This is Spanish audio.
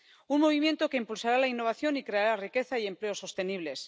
Un movimiento que impulsará la innovación y creará riqueza y empleo sostenibles.